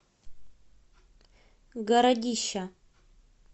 городища